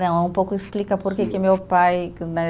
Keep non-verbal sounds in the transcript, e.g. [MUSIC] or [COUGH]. [UNINTELLIGIBLE] um pouco explica porque que meu pai que né